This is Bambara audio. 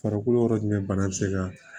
Farikolo yɔrɔ jumɛn bana bɛ se ka